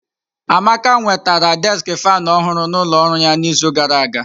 Amaka nwetara deski faanụ ọhụrụ n'ụlọ ọrụ ya n'izu gara aga.